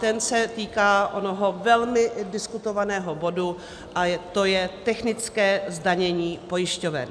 Ten se týká onoho velmi diskutovaného bodu a to je technické zdanění pojišťoven.